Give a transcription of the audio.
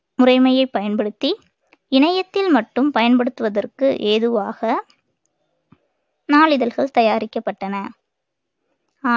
முறைமையை பயன்படுத்தி இணையத்தில் மட்டும் பயன்படுத்துவதற்கு ஏதுவாக நாளிதழ்கள் தயாரிக்கப்பட்டன ஆ~